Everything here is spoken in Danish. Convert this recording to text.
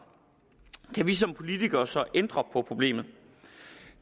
kan vi som politikere så ændre på problemet